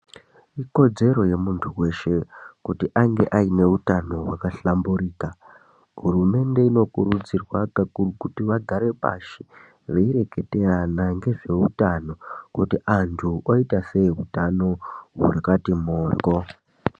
Ikodzedzero yemundu weshe kuti ange aine utano wakahlamburika hurumende inokuridzirwa kakuru kuti vagare pashi veireketerana ngezveutano kuti vantu voita sei utano hwakati mhorwo.